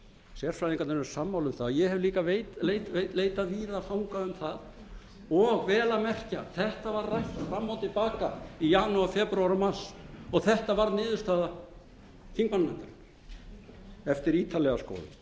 sérfræðingarnir eru sammála um það ég hef líka leitað víða fanga um það og vel að merkja þetta var rætt fram og til baka í janúar febrúar og mars og þetta varð niðurstaða þingmannanefndarinnar eftir ítarlega